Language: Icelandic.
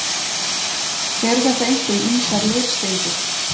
Eru þetta einkum ýmsar leirsteindir.